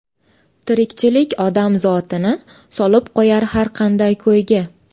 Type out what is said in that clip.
Tirikchilik odam zotini Solib qo‘yar har qanday ko‘yga.